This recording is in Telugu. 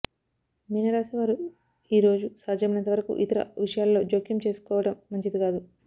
మీనరాశి వారు ఈరోజు సాధ్యమైనంతవరకు ఇతరుల విషయాలలో జోక్యం చేసుకోవడం మంచిది కాదు